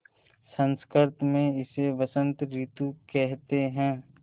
संस्कृत मे इसे बसंत रितु केहेते है